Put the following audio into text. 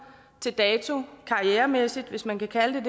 til dato karrieremæssigt hvis man kan kalde